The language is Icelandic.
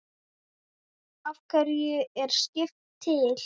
Af hverju er skrift til?